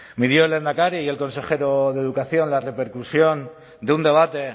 midió el lehendakari y el consejero de educación la repercusión de un debate